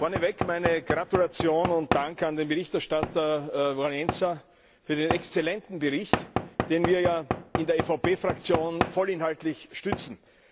Vorneweg meine Gratulation und Dank an den Berichterstatter Wałęsa für den exzellenten Bericht, den wir ja in der EVP Fraktion vollinhaltlich stützen.